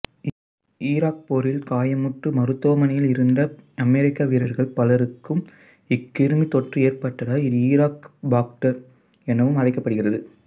Iraq போரில் காயமுற்று மருத்துவமனையில் இருந்த அமெரிக்க வீரர்கள் பலருக்கு இக்கிருமித் தொற்று ஏற்பட்டதால் இது ஈராக்கிபாக்டர் எனவும் அழைக்கப்படுகிறது